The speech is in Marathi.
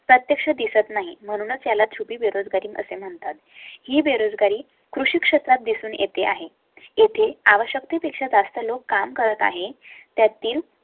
प्रत्यक्ष दिसत नाही. म्हणूनच याला छुपी बेरोजगारी असे म्हणतात ही बेरोजगारी कृषी क्षेत्रात दिसून येते आहे. येथे आवश्यकते पेक्षा जास्त लोक काम करत आहे. त्यातील